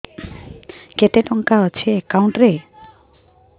କେତେ ଟଙ୍କା ଅଛି ଏକାଉଣ୍ଟ୍ ରେ